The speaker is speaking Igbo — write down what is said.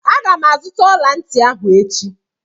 Aga m azụta ọla ntị ahụ echi